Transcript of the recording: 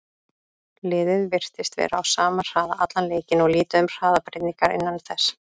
Liðið virtist vera á sama hraða allan leikinn og lítið um hraðabreytingar innan þess.